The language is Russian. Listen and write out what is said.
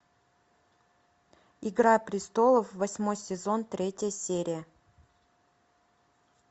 игра престолов восьмой сезон третья серия